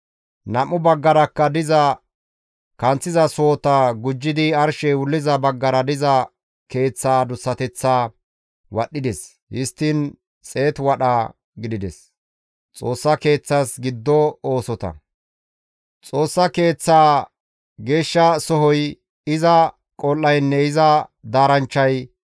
Nam7u baggarakka diza kanththiza sohota gujjidi arshey wulliza baggara diza keeththa adussateththaa wadhdhides; histtiin xeetu wadha gidides. Xoossa Keeththas Giddo Oosota Xoossa Keeththa Geeshsha sohoy, iza qol7aynne iza daaranchchay